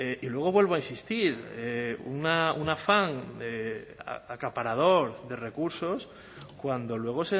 y luego vuelvo a insistir un afán acaparador de recursos cuando luego